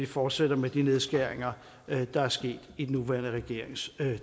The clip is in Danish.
fortsætter med de nedskæringer der er sket i den nuværende regerings